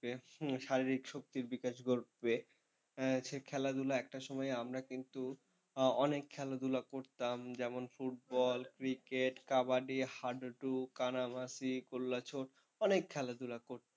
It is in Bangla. হম শারীরিক শক্তির বিকাশ ঘটবে। খেলাধুলা একটা সময় আমরা কিন্তু অনেক খেলাধুলা করতাম যেমন football cricket kabaddi হাডুডু, কানামাছি, কললাচর অনেক খেলাধুলা কর,